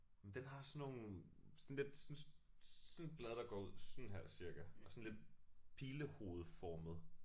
Jamen den har sådan nogle sådan lidt sådan sådan et blad der går ud sådan her cirka og sådan lidt pilehovedformet